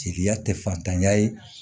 Jeliya tɛ fantanya ye